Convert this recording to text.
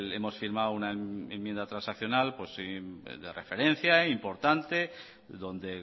hemos firmado una enmienda transaccional de referencia e importante donde